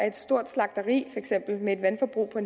et stort slagteri med et vandforbrug på